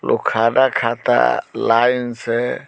लोग खाना खाता लाइन से।